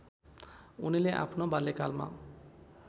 उनले आफ्नो बाल्यकालमा